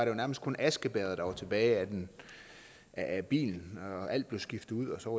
jo nærmest kun askebægeret der var tilbage af bilen alt blev skiftet ud og så